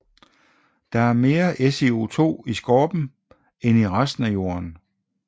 Der er mere SiO2 i skorpen end i resten af Jorden